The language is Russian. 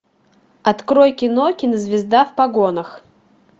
открой кино кинозвезда в погонах